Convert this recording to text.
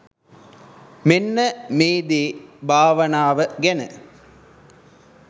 මෙන්න මේ දේ භාවනාව ගැන